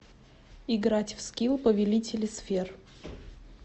играть в скил повелители сфер